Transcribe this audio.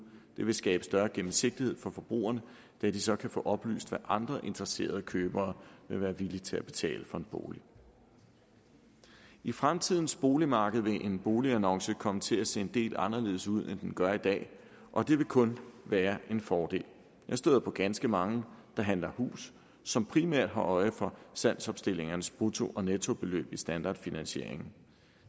det vil skabe større gennemsigtighed for forbrugerne da de så kan få oplyst hvad andre interesserede købere vil være villige til at betale for en bolig i fremtidens boligmarked vil en boligannonce komme til at se en del anderledes ud end den gør i dag og det vil kun være en fordel jeg støder på ganske mange der handler hus som primært har øje for salgsopstillingernes brutto og nettobeløb i standardfinansieringen